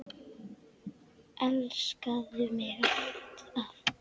Elskaðu mig alt af.